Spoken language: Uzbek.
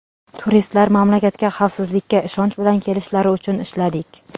Turistlar mamlakatga xavfsizlikka ishonch bilan kelishlari uchun ishladik.